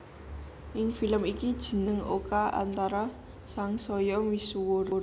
Ing film iki jeneng Oka Antara sangsaya misuwur